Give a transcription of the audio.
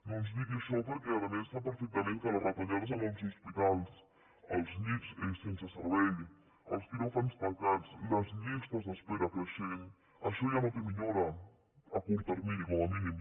no ens digui això perquè a més sap perfectament que les retallades en els hospitals els llits sense servei els quiròfans tancats les llistes d’espera creixents això ja no té millora a curt termini com mínim